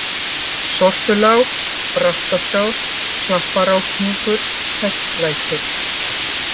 Sortulág, Brattaskál, Klapparáshnjúkur, Hestlækir